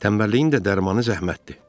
Tənbəlliyin də dərmanı zəhmətdir.